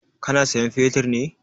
Ka na sayan fetir ne?